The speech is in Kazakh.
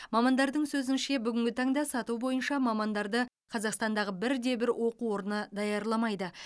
мамандардың сөзінше бүгінгі таңда сату бойынша мамандарды қазақстандағы бірде бір оқу орны даярламайды